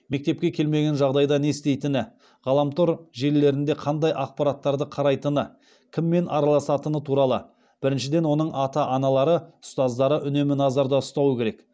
мектепке келмеген жағдайда не істейтіні ғаламтор желілерінде қандай ақпараттарды қарайтыны кіммен араласатыны туралы біріншіден оның ата аналары ұстаздары үнемі назарда ұстауы керек